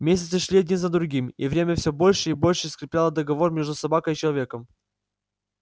месяцы шли один за другим и время все больше и больше скрепляло договор между собакой и человеком